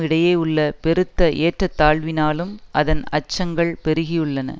இடையே உள்ள பெருத்த ஏற்றத்தாழ்வினாலும் அதன் அச்சங்கள் பெருகியுள்ளன